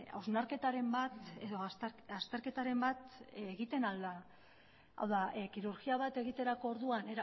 hausnarketaren bat edo azterketaren bat egiten ahal da hau da kirurgia bat egiterako orduan